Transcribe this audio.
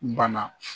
Bana